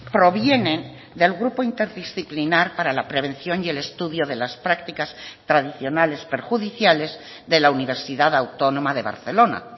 provienen del grupo interdisciplinar para la prevención y el estudio de las prácticas tradicionales perjudiciales de la universidad autónoma de barcelona